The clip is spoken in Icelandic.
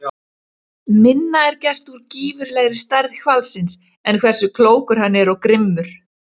Minna er gert úr gífurlegri stærð hvalsins en hversu klókur hann er og grimmur.